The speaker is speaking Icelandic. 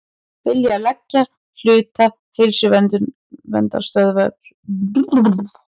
Vilja leigja hluta Heilsuverndarstöðvarinnar